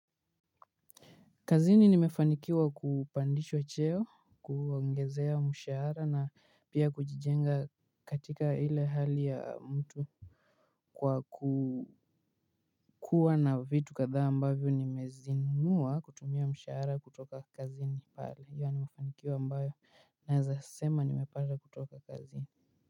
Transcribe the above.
Kazini nimefanikiwa kupandishwa cheo, kuongezewa mshahara na pia kujijenga katika ile hali ya mtu. Kwa kukua na vitu kadhaa ambavyo nimezinunua kutumia mshahara kutoka kazini pale, hio ni mafanikio ambayo naeza sema nimepata kutoka kazini.